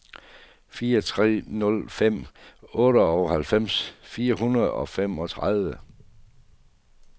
fire tre nul fem otteoghalvfems fire hundrede og femogtredive